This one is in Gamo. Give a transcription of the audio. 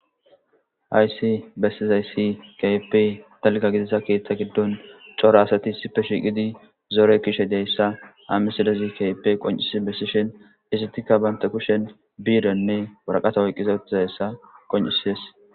Haysi bessizayssi kap talga gidissa keeththa giddon cora asati sipe shiiqidi zoore kishe deyssa hamisadazi kape qoncisi bessishin isitikka baynta kushen biirenne waraqata oyqqiza uttizayssa qoncisies.